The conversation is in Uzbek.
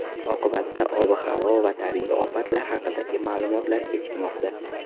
Oqibatda ob-havo va tabiiy ofatlar haqidagi ma’lumotlar kechikmoqda.